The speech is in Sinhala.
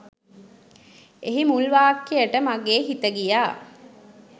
එහි මුල් වාක්‍යට මගේ හිත ගියා.